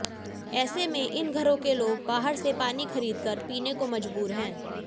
ऐसे में इन घरों के लोग बाहर से पानी खरीदकर पीने को मजबूर हैं